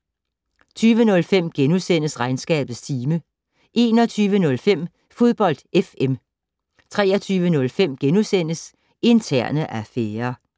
20:05: Regnskabets time * 21:05: Fodbold FM 23:05: Interne affærer *